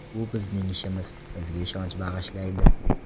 Bu bizning ishimiz, bizga ishonch bag‘ishlaydi.